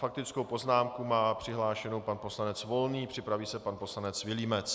Faktickou poznámku má přihlášenou pan poslanec Volný, připraví se pan poslanec Vilímec.